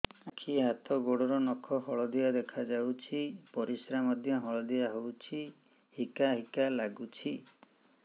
ଆଖି ହାତ ଗୋଡ଼ର ନଖ ହଳଦିଆ ଦେଖା ଯାଉଛି ପରିସ୍ରା ମଧ୍ୟ ହଳଦିଆ ହଉଛି ହିକା ହିକା ଲାଗୁଛି